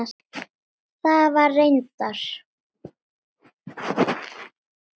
Það var reyndar